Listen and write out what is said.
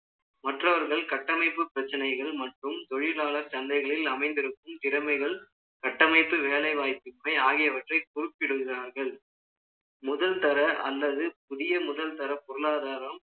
மற்றவர்கள் கட்டமைப்பு பிரச்சனைகள் மற்றும் தொழிலாளர் சந்தைகளில் அமைந்திருக்கும் திறமைகள் கட்டமைப்பு, வேலை வாய்ப்பின்மை ஆகியவற்றை குறிப்பிடுகிறார்கள். முதல் தர அல்லது புதிய முதல்தர பொருளாதாரம்